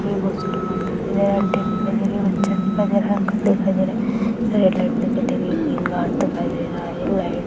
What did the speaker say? aunty दिखाई दे रही है बच्चा दिखाई दे रहा है अंकल दिखाई दे रहे है रेड लाइन दिखाई दे रही है